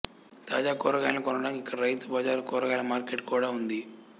తాజా కూరగాయలను కొనడానికి ఇక్కడ రైతు బజార్ కూరగాయల మార్కెట్ కూడా ఉంది